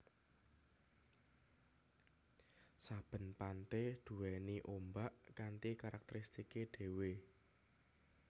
Saben pante duwéni ombak kanthi karakteristike dhewe